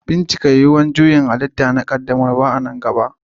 Bincika yuwuwar juyin halitta na bikin ƙaddamarwa a nan gaba.